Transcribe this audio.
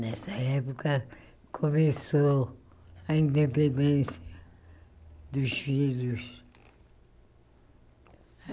Nessa época, começou a independência dos filhos.